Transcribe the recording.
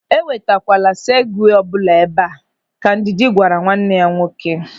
"E wetakwala segwee ọbụla ebe a", Ka Ndidi gwara nwanne ya nwoke.